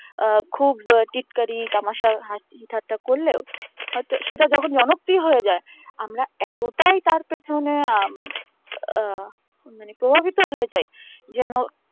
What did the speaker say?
আহ খুব টিটকারি তামাশা হাসি ঠাট্টা করলেও হয়তো সেটা যখন হয়ে যায় আমরা এতটাই তার কাছে মানে আম ওঃ মানে প্রভাবিত হয়ে যায় যেন